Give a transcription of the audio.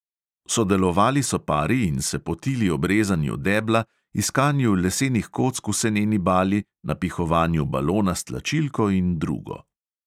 Sodelovali so pari in se potili ob rezanju debla, iskanju lesenih kock v seneni bali, napihovanju balona s tlačilko in drugo.